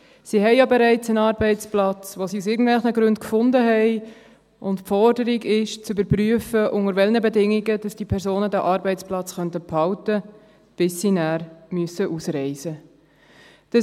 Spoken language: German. Sie haben ja bereits einen Arbeitsplatz, den sie aus irgendwelchen Gründen gefunden haben, und die Forderung ist, zu überprüfen, unter welchen Bedingungen diese Personen den Arbeitsplatz behalten können, bis sie dann ausreisen müssen.